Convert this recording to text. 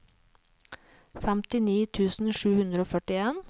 femtini tusen sju hundre og førtien